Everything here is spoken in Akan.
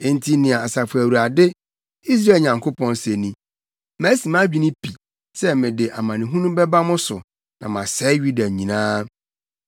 “Enti nea Asafo Awurade, Israel Nyankopɔn, se ni: Masi mʼadwene pi sɛ mede amanehunu bɛba mo so na masɛe Yuda nyinaa.